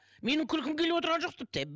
менің күлкім келіп отырған жоқ тіпті